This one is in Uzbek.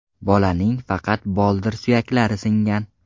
Bolaning faqat boldir suyaklari singan.